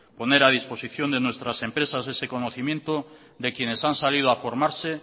poner a disposición de nuestras empresas ese conocimiento de quienes han salido a formarse